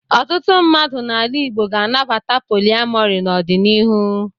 Ọtụtụ mmadụ n'ala Igbo ga-anabata poliamọrị n'ọdịnihu.